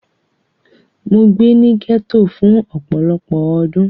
Mo gbé ní gẹ́tò fún ọpọlọ́pọ́ ọdún.